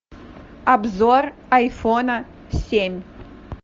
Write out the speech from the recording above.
обзор айфона семь